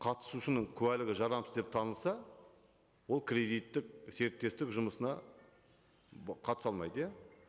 қатысушының куәлігі жарамсыз деп танылса ол кредиттік серіктестік жұмысына қатыса алмайды иә